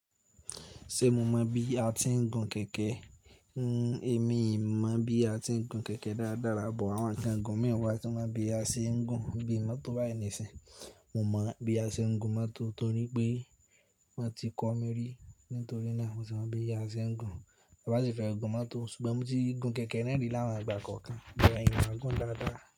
Ṣé mo mọ̀ bí a ti ń gun kẹ̀kẹ́? N emi mọ̀ bí a ti ń gun kẹ̀kẹ́ dáradára, but àwọn nǹkan gùn mii wàá tí mo mọ bí a ṣe ń gun bí i mọ́tò báyìí nísìí. Mo mọ̀ bí a ṣe ń gun mọ́tò torí pé wọn ti kọ́ mi rí, nítorí náà mo sì mọ̀ bí a ṣe ń gun. Bí a bá sì fẹ́ gun mọ́tò, ṣùgbọ́n mo ti gun kẹ̀kẹ́ náà rí ní àwọn ìgbà kọ̀ọ̀kan but mio mọ gun dáradára.